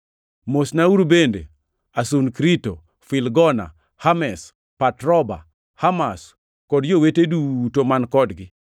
Mosnauru bende Asunkrito, Filgona, Hermes, Patroba, Hermas, kod Jowete duto man kodgi.